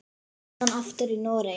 Síðan aftur í Noregi.